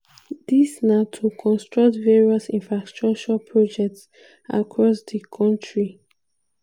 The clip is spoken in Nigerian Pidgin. dis na to construct various infrastructure projects across di kontri.